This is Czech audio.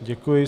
Děkuji.